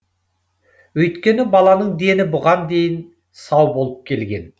өйткені баланың дені бұған дейін сау болып келген